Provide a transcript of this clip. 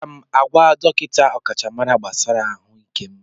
Aga m agwa dọkịta ọkachamara gbasara ahụike m.